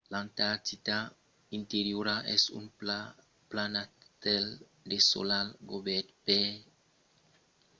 l'antartida interiora es un planastèl desolat cobèrt per 2-3 km de glaç